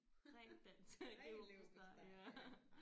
Ren dansk det er jo ja